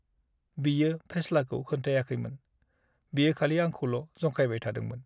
बियो फेस्लाखौ खोन्थायाखैमोन, बियो खालि आंखौल' जंखायबाय थादोंमोन।